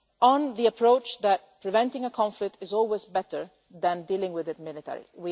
as on the approach that preventing a conflict is always better than dealing with it militarily.